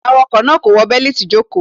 Awakọ naa ko wọ beliti ijoko.